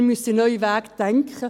Wir müssen neue Wege denken.